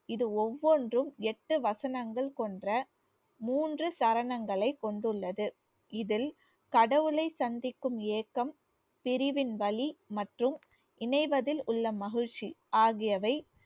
இது ஒவ்வொன்றும் எட்டு வசனங்கள் கொண்ட மூன்று சரணங்களை கொண்டுள்ளது. இதில் கடவுளை சந்திக்கும் ஏக்கம் பிரிவின் வலி மற்றும் இணைவதில் உள்ள மகிழ்ச்சி ஆகியவை